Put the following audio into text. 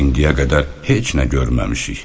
İndiyə qədər heç nə görməmişik.